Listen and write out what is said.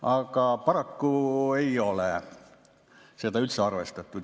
Aga paraku ei ole seda üldse arvestatud.